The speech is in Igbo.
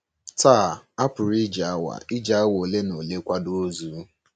Taa, a pụrụ iji awa iji awa ole na ole kwado ozu.